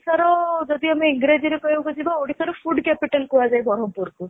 ର ଯଦି ଆମେ englishରେ କହିବାକୁ ଯିବା ଓଡିଶାର food capital କୁଆହଞ୍ଜେ ବରମପୁରକୁ